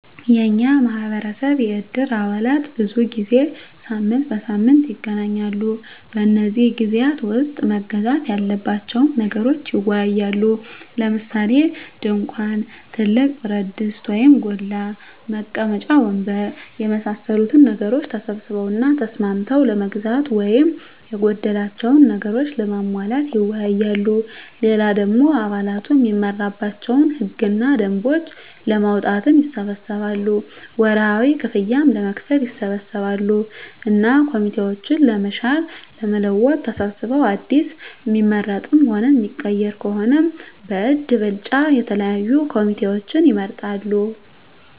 የኛ ማህበረሰብ የእድር አባላት ብዙ ጊዜ ሳምንት በሳምንት ይገናኛሉ። በነዚህ ግዜያት ዉስጥ መገዛት ያለባቸዉን ነገሮች ይወያያሉ። ለምሳሌ፦ ድንኳን፣ ትልቅ ብረትድስት (ጎላ) ፣ መቀመጫ ወንበር የመሳሰሉትን ነገሮች ተሰብስበዉ እና ተስማምተዉ ለመግዛት ወይም የጎደላቸዉን ነገሮች ለማሟላት ይወያያሉ። ሌላ ደሞ አባላቱ እሚመራባቸዉን ህግ እና ደንቦች ለማዉጣትም ይሰበሰባሉ፣ ወርሀዊ ክፍያም ለመክፈል ይሰበሰባሉ እና ኮሚቴዎችን ለመሻር ለመለወጥ ተሰብስበዉ አዲስ እሚመረጥም ሆነ እሚቀየር ከሆነም በእጅ ብልጫ የተለያዩ ኮሚቴዎችን ይመርጣሉ።